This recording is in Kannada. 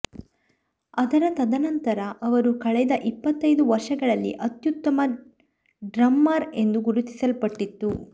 ಅದರ ತದನಂತರ ಅವರು ಕಳೆದ ಇಪ್ಪತ್ತೈದು ವರ್ಷಗಳಲ್ಲಿ ಅತ್ಯುತ್ತಮ ಡ್ರಮ್ಮರ್ ಎಂದು ಗುರುತಿಸಲ್ಪಟ್ಟಿತು